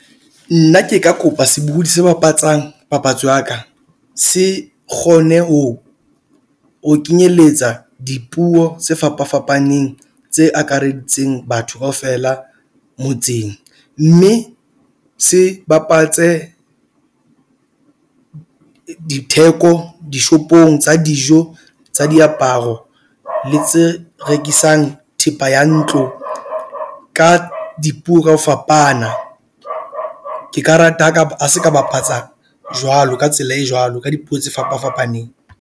Nna ke ka kopa sebohodi se bapatsang papatso ya ka se kgone ho o kenyeletsa dipuo tse fapafapaneng tse akareditseng batho kaofela motseng. Mme se bapatse ditheko dishopong tsa dijo tsa diaparo le tse rekisang thepa ya ntlo ka dipuo ka ho fapana. Ke ka rata ha ka ba seka bapatsa jwalo ka tsela e jwalo ka dipuo tse fapafapaneng.